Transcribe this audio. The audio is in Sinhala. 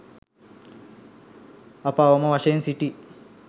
අප අවම වශයෙන් සිටි